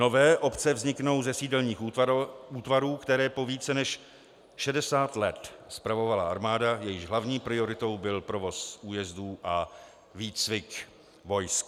Nové obce vzniknou ze sídelních útvarů, které po více než 60 let spravovala armáda, jejíž hlavní prioritou byl provoz újezdů a výcvik vojsk.